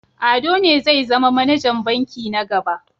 Ado ne zai zama manajan banki na gaba.